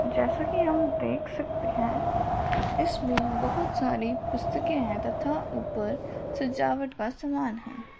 जैसे कि हम देख सकते हैं इसमें बहोत सारी पुस्तके हैं तथा ऊपर सजावट का समान है।